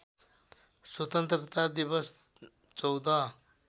स्वतन्त्रता दिवस १४